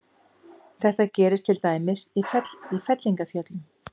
Þetta gerist til dæmis í fellingafjöllum.